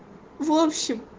в общем